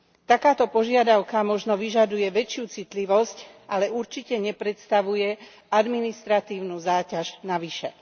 Takáto požiadavka možno vyžaduje väčšiu citlivosť, ale určite nepredstavuje administratívnu záťaž navyše.